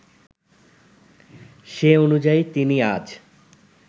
সে অনুযায়ী তিনি আজ